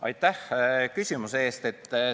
Aitäh küsimuse eest!